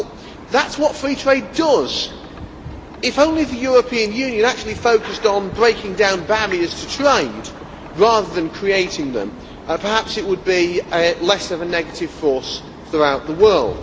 Well, that is what free trade does! If only the European Union actually focused on breaking down barriers to trade rather than creating them, perhaps it would be less of a negative force throughout the world.